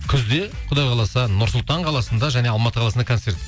күзде құдай қаласа нұр сұлтан қаласында және алматы қаласында концерт